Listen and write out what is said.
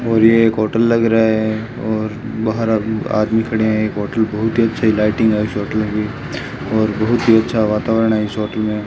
और यह एक होटल लग रहा है और बाहर आदमी खड़े हैं एक होटल बहुत ही अच्छी लाइटिंग और शॉट लगी और बहुत ही अच्छा वातावरण है इस होटल में।